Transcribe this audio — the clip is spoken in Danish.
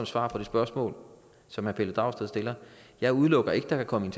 svar på det spørgsmål som herre pelle dragsted stiller jeg udelukker ikke at der kan komme